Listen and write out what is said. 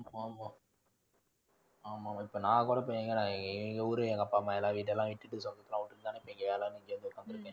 ஆமா ஆமா. ஆமாம், இப்போ நான் எங்க அப்பா அம்மா எல்லாம் வீடெல்லாம் விட்டுட்டு சொந்தத்தெல்லாம் விட்டுட்டு தானே இப்போ இங்க வேலைனு இங்க வந்து உக்காந்துருக்கேன்.